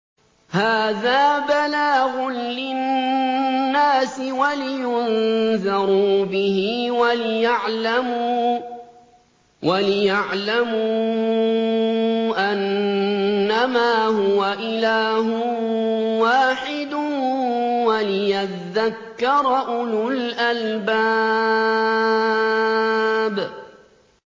هَٰذَا بَلَاغٌ لِّلنَّاسِ وَلِيُنذَرُوا بِهِ وَلِيَعْلَمُوا أَنَّمَا هُوَ إِلَٰهٌ وَاحِدٌ وَلِيَذَّكَّرَ أُولُو الْأَلْبَابِ